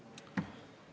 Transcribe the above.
Jah.